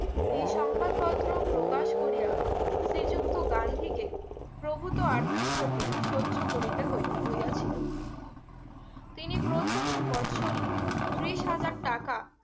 এ সংবাদ পত্র প্রকাশ করিয়ে শ্রী যুক্ত গান্ধীকে প্রভুতো আর্থিক ক্ষতি সর্য্য করিতে হইতে হইয়া ছিলো তিনি প্রথম বর্ষরি ত্রিশ হাজার টাকা